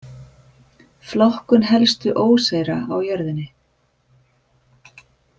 Flokkun helstu óseyra á jörðinni.